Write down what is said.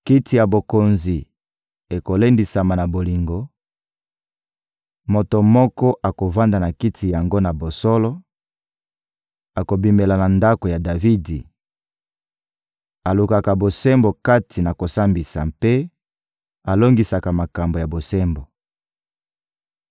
Kiti ya bokonzi ekolendisama na bolingo; moto moko akovanda na kiti yango na bosolo, akobimela na ndako ya Davidi: alukaka bosembo kati na kosambisa mpe alongisaka makambo ya bosembo.